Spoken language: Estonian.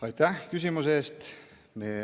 Aitäh küsimuse eest!